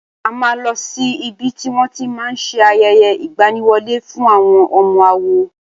A máa lọ sí ibi tí wón ti máa ṣe ayẹyẹ ìgbaniwọlé fún àwọn ọmọ àwo.